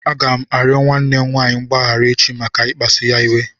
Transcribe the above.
Aga m arịọ nwanne m nwaanyị mgbaghara echi maka ikpasụ ya iwe.